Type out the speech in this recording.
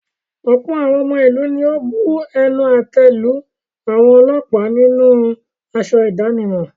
Ọ̀pọ̀ àwọn ọmọ ìlú ni ó bu ẹnu àtẹ́ lu àwọn ọlọ́pàá nínú aṣọ ìdánimọ̀.